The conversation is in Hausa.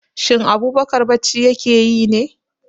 Shin Abubakar bacci ya ke yi ne?